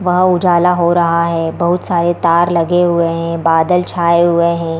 Wow उजाला हो रहा है बहुत सारे तार लगे हुए हैं बादल छाए हुए हैं ।